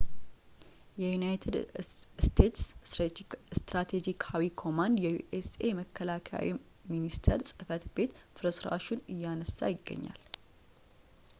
የዩናይትድ ስቴትስ ስትራቴጂካዊ ኮማንድ የዩ ኤስ የመከላከያ ሚኒስቴር ጽሕፈት ቤት ፍርስራሹ ን እያነሳ ይገኛል